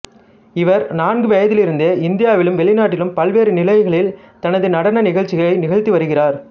இவர் நான்கு வயதிலிருந்தே இந்தியாவிலும் வெளிநாட்டிலும் பல்வேறு நிலைகளில் தனது நடன நிகழ்ச்சிகளை நிகழ்த்தி வருகிறார்